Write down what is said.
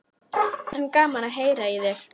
En gaman að heyra í þér.